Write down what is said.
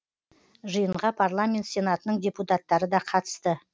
жиынға парламент сенатының депутаттары да қатысты